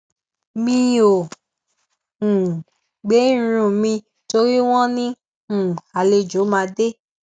mi ò um gbẹ irun mi torí wón ní um àlejò máa dé